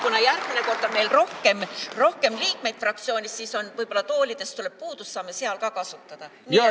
Kuna järgmine kord on meil rohkem liikmeid fraktsioonis, siis võib-olla toolidest tuleb puudus, saame seda ka kasutada.